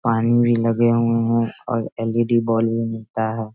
पानी भी लगे हुए है और एल.ई.डी. बल्ब भी मिलता है।